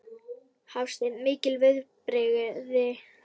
Hafsteinn: Mikil viðbrigði?